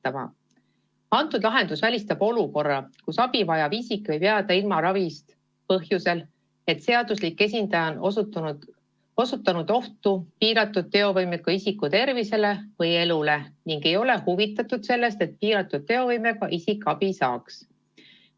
lahendus välistab olukorra, kus abivajav isik võib jääda ravist ilma põhjusel, et seaduslik esindaja on osutanud ohtu piiratud teovõimega isiku tervisele või elule ning ei ole huvitatud sellest, et piiratud teovõimega isik abi saaks.